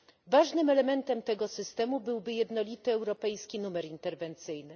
Ważnym elementem tego systemu byłby jednolity europejski numer interwencyjny.